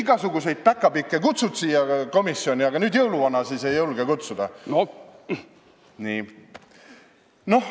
Igasuguseid päkapikke kutsud siia komisjoni, aga nüüd jõuluvana siis ei julge kutsuda?!